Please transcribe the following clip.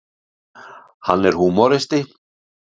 Hann er húmoristi.